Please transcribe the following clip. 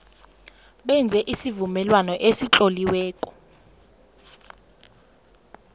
benze isivumelwano esitloliweko